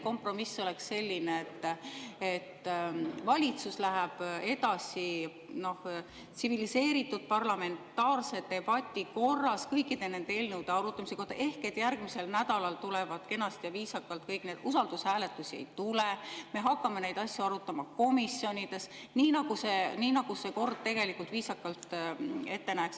Kompromiss oleks selline, et valitsus läheb edasi tsiviliseeritud parlamentaarse debati korras kõikide nende eelnõude arutamisega ehk järgmisel nädalal tuleb kõik kenasti ja viisakalt, usaldushääletusi ei tule, me hakkame neid asju arutama komisjonides, nii nagu kord tegelikult viisakalt ette näeks.